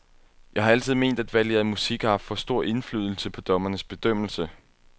Jeg har altid ment, at valget af musik har haft for stor indflydelse på dommernes bedømmelse.